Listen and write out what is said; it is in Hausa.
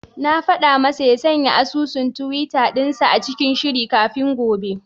Na faɗa masa ya sanya asusun tiwita dinsa cikin shiri kafin gobe.